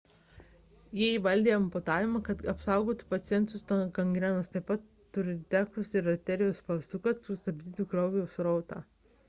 jie įvaldė amputavimą kad apsaugotų pacientus nuo gangrenos taip pat – turniketus ir arterijų spaustukus kad sustabdytų kraujo srautą